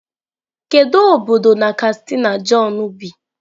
Kedu obodo na kastina john bi?